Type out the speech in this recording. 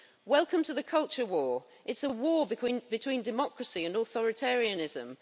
Welcome to the culture war. It's a war between democracy and authoritarianism.